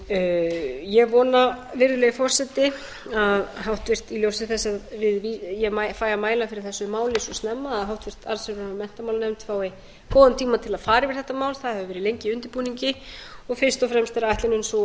en ég vona virðulegi forseti að í ljósi þess að ég fæ að mæla fyrir þessu máli svo snemma að háttvirt allsherjar og menntamálanefnd fái góðan tíma til að fara yfir þetta mál það hefur verið lengi í undirbúningi og fyrst og fremst er ætlunin sú að